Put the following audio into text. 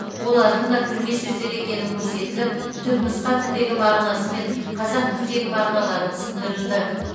олардың да кірме сөздер екені көрсетіліп түпнұсқа тілдегі мағынасы мен қазақ тіліндегі мағыналары түсіндірілді